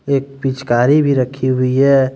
एक पिचकारी भी रखी हुई है।